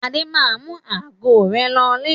Adé máa mú ago rẹ̀ lọlé.